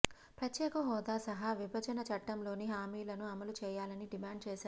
ప్రత్యేక హోదా సహా విభజన చట్టంలోని హామీలను అమలు చేయాలని డిమాండ్ చేశారు